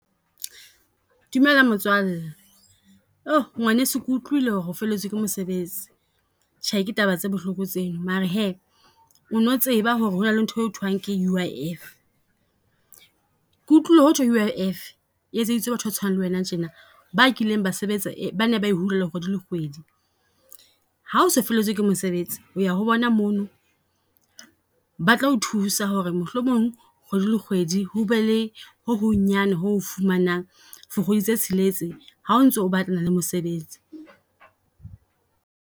Dumela motswalle, ngwaneso ke utlwile ho re o felletswe ke mosebetsi. Tjhe, Ke taba tse bohloko tseno mare hee ono tseba ho re hona le nthwe ho thwang ke U_I_F. Ke utlwile ho thwe U_I_F e etseditswe batho ba tshwanang le wena tjena, ba kileng ba sebetsa, ba ne ba e hulelwa kgwedi le kgwedi. Ha o se o feletswe ke mosebetsi o ya ho bona mono, batla ho thusa ho re mohlomong kgwedi le kgwedi ho be le ho hong nyana ho o fumanang for kgwedi tse tsheletse ha o ntso o batlana le mosebetsi.